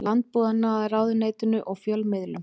Landbúnaðarráðuneytinu og fjölmiðlum.